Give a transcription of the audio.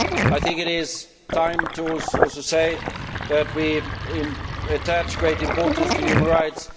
I think it is time for us to say that we attach great importance to human rights.